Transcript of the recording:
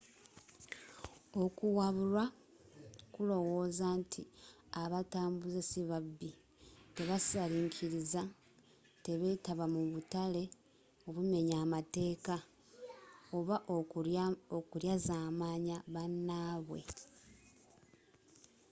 okuwabulwa kulowooza nti abatambuze si babbi teba salikiriza tebeetaba mu butale obumenya amateka oba okulyaazamanya bannabwe